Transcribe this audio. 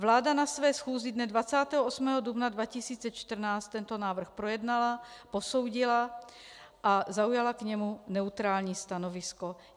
Vláda na své schůzi dne 28. dubna 2014 tento návrh projednala, posoudila a zaujala k němu neutrální stanovisko.